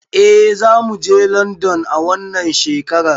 Eh zamuje london a wannan shekarar